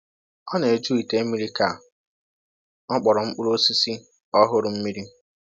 Ọ na-eju ite mmiri ka ọ kpọrọọ mkpụrụ osisi ọhụrụ mmiri